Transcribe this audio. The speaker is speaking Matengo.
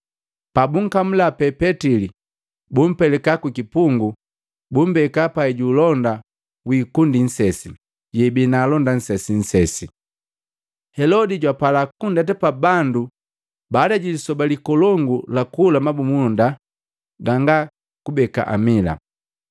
Pabunkamula pee Petili, bumpelika kukipungu, bumbeka pai ju ulonda wiikundi nsesi, yeibii na alonda nsesinsesi. Helodi jwapala kundeta pa bandu baada ji lisoba likolongu la kula mabumunda ganga kubeka amila.